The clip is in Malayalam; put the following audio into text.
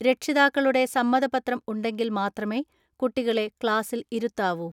രക്ഷിതാക്കളുടെ സമ്മതപത്രം ഉണ്ടെങ്കിൽ മാത്രമേ കുട്ടികളെ ക്ലാസിൽ ഇരുത്താവൂ.